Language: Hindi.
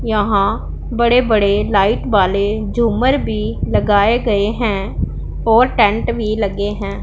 यहां बड़े बड़े लाइट वाले झूमर भी लगाए गए हैं और टेंट भी लगे हैं।